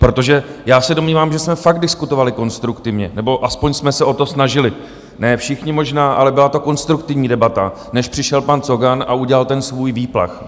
Protože já se domnívám, že jsme fakt diskutovali konstruktivně, nebo aspoň jsme se o to snažili, ne všichni možná, ale byla to konstruktivní debata, než přišel pan Cogan a udělal ten svůj výplach.